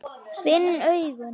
Finn augun.